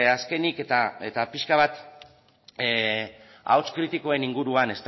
azkenik eta pixka bat ahots kritikoen inguruan